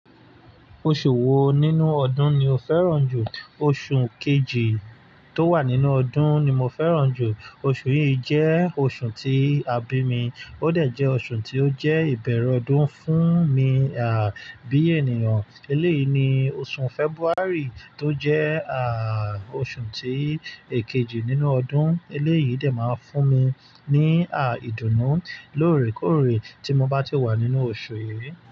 Oṣù wo nínú ọdún ni o fẹ́ràn jù? Oṣù kejì tó wà nínú ọdún ni mo fẹ́ràn jù. Oṣù yìí jẹ́ oṣù tí a bí mi, ó dẹ̀ jẹ́ oṣù tí ó jẹ́ ìbẹ̀rẹ̀ ọdún fún mi, à, bí ènìyàn. Eléyìí ni oṣù February tó jẹ́, ààà, oṣù tí èkejì nínú ọdún. Eléyìí dè máa ń fún mi ní, àà, ìdùnnú lóòrèkóòrè tí mo bá ti wà nínú oṣù yìí.